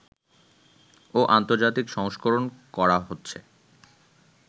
ও আন্তর্জাতিক সংস্করণ করা হচ্ছে